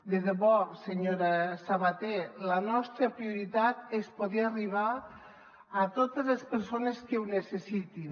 de debò senyora sabater la nostra prioritat és poder arribar a totes les persones que ho necessitin